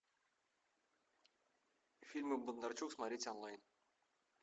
фильмы бондарчук смотреть онлайн